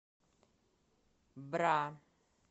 бра